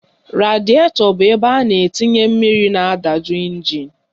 Radietọ bụ ebe a na-etinye mmiri na-adaju ịnjin